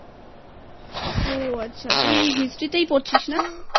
ও আচ্ছা তুইHistory তেই পড়ছিস না?